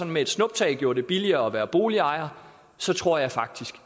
med et snuptag gjorde det billigere at være boligejer så tror jeg faktisk